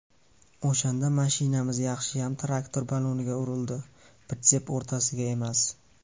O‘shanda mashinamiz yaxshiyam traktor baloniga urildi, pritsep o‘rtasiga emas.